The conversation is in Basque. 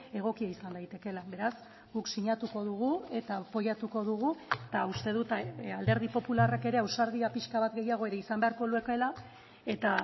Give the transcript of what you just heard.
egokia izan daitekeela beraz guk sinatuko dugu eta apoiatuko dugu eta uste dut alderdi popularrak ere ausardia pixka bat gehiago ere izan beharko lukeela eta